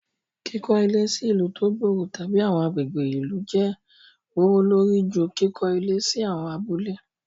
Kiko ile si ilu to gbooro tabi awọn agbegbe ilu jẹ gbowolori ju kikọ ile si awon abule